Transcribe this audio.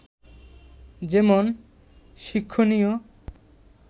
যেমন শিক্ষণীয়